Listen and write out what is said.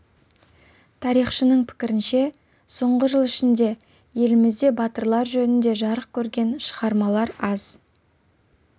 тарихшының пікірінше соңғы жыл ішінде елімізде батырлар жөнінде жарық көрген шығармалар аз